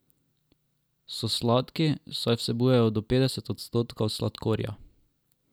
So sladki, saj vsebujejo do petdeset odstotkov sladkorja.